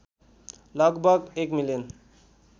लगभग १ मिलियन